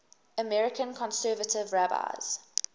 american conservative rabbis